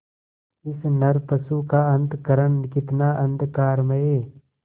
इस नरपशु का अंतःकरण कितना अंधकारमय